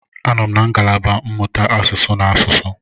Anọ m na ngalaba mmụta asụsụ na asụsụ.